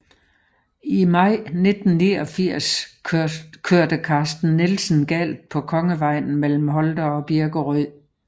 I maj 1989 kørte Carsten Nielsen galt på Kongevejen mellem Holte og Birkerød